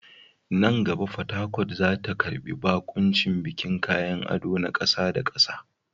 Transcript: Nan gaba, Port Harcourt za ta karbi baƙuncin bikin kayan ado na ƙasa da ƙasa.